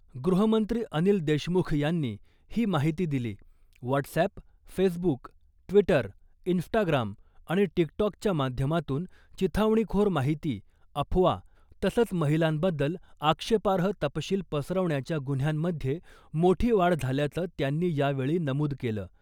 गृहमंत्री अनिल देशमुख यांनी ही माहिती दिली , व्हाटसअॅप , फेसबूक , ट्वीटर , इंस्टाग्राम आणि टिकटॉकच्या माध्यमातून चिथावणीखोर माहिती , अफवा तसंच महिलांबद्दल आक्षेपार्ह तपशील पसरवण्याच्या गुन्ह्यांमध्ये मोठी वाढ झाल्याचं त्यांनी यावेळी नमूद केलं .